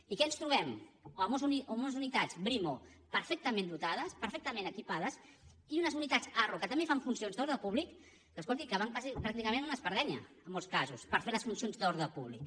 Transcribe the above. i què ens trobem amb unes unitats brimo perfectament dotades perfectament equipades i unes unitats arro que també fan funcions d’ordre públic escolti que van pràcticament amb una espardenya en molts casos per fer les funcions d’ordre públic